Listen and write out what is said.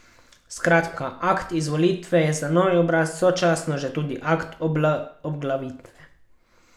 Skratka, akt izvolitve je za novi obraz sočasno že tudi akt obglavitve.